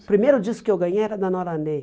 O primeiro disco que eu ganhei era da Nora Ney.